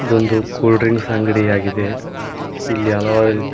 ಇದು ಒಂದು cool drinks ಅಂಗಡಿಯಾಗಿದೆ ಇಲ್ಲಿ ಹಲವಾರು ರಿ--